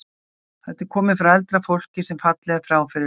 Þetta er komið frá eldra fólki sem fallið er frá fyrir löngu.